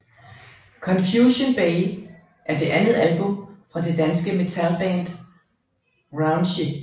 Confusion Bay er det andet album fra det danske metalband Raunchy